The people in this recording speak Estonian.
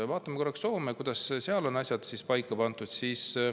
Vaatame korraks, kuidas Soomes on asjad paika pandud.